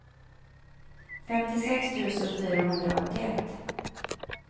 femtiosex tusen fyrahundraåttioett